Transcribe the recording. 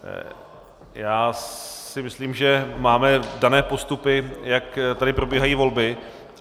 Já si myslím, že máme dané postupy, jak tady probíhají volby.